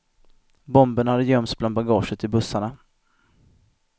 Bomberna hade gömts bland bagaget i bussarna.